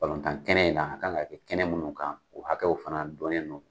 tan kɛnɛ in na, a ka kan ka kɛ kɛnɛ minnu kan o hakɛw fana dɔɔnnen non